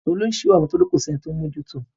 Tolú ń ṣìwàwù nítorí kò sí ẹni tó ń mójú to.